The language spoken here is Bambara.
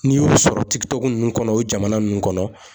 N'i y'o sɔrɔ ninnu kɔnɔ o jamana ninnu kɔnɔ